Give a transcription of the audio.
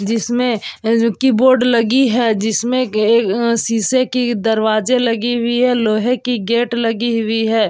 जिसमें अ ज की बोर्ड लगी है | जिसमें ए अ शीशे की दरवाजे लगी हुई है | लोहे की गेट लगी हुई है।